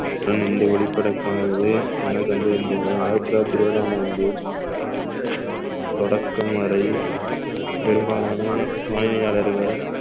இந்த ஒளி படக்கானது என கண்டறிந்துள்ளார் ஆயிரத்தி தொள்ளாயிரத்தி இருபதாம் ஆண்டு தொடக்கம் வரை பெரும்பாலான வாடியாளர்கள்